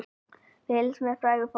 Fylgst með fræga fólkinu